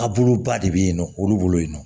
A buluba de bɛ yen nɔ olu bolo yen nɔ